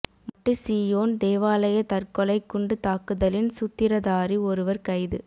மட்டு சீயோன் தேவாலய தற்கொலை குண்டு தாக்குதலின் சூத்திரதாரி ஒருவர் கைது